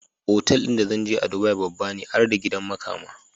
Otal din da zanje a dubai babbane har da gidan makama